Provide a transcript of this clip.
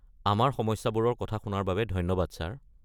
আমাৰ সমস্যাবোৰৰ কথা শুনাৰ বাবে ধন্যবাদ ছাৰ।